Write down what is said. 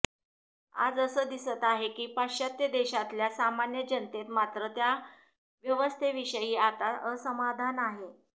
आज असं दिसत आहे की पाश्चात्त्य देशांतल्या सामान्य जनतेत मात्र त्या व्यवस्थेविषयी आता असमाधान आहे